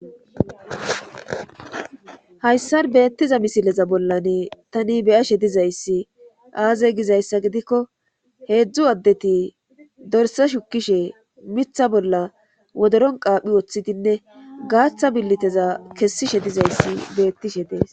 hayssar beettiza misileza bollane tani beyashe dizayssi aaze gizayssa gidikko heedzdzu addeti dorse shukishe mitha bolla wodoron qaaphi woththidinne gaaththa billiteza kessishe dizayssi beettishe dees